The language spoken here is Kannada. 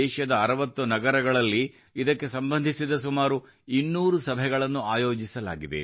ದೇಶದ 60 ನಗರಗಳಲ್ಲಿ ಇದಕ್ಕೆ ಸಂಬಂಧಿಸಿದ ಸುಮಾರು 200 ಸಭೆಗಳನ್ನು ಆಯೋಜಿಸಲಾಗಿದೆ